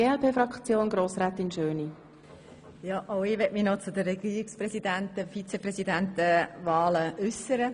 Auch ich möchte mich noch zu den Wahlen für das Regierungspräsidium und das Regierungsvizepräsidium äussern.